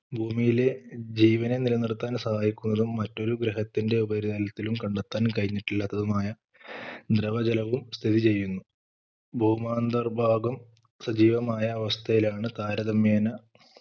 ഭൂമിയിലെ ജീവനെ നില നിർത്താൻ സഹായിക്കുന്നതും മറ്റൊരു ഗ്രഹത്തിന്റെ ഉപരിതലത്തിലും കണ്ടെത്താൻ കഴിഞ്ഞിട്ടില്ലാത്തതുമായ ദ്രവ ജലവും സ്ഥിതി ചെയ്യുന്നു ഭൗമാന്തർ ഭാഗം സജീവമായ അവസ്ഥയിലാണ് താരതമ്യേന